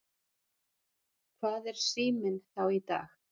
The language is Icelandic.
Hvað er Síminn þá í dag?